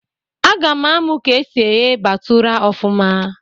A ga-amụ ka esi eghe batụra ọfụma